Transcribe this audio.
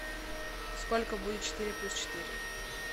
сколько будет четыре плюс четыре